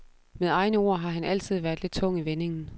Med egne ord har han altid været lidt tung i vendingen.